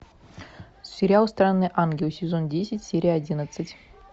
сериал странный ангел сезон десять серия одиннадцать